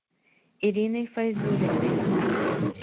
ириной файзуллиной